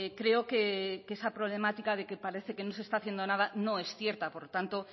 creo que esa problemática de que parece que no se está haciendo nada no es cierta por tanto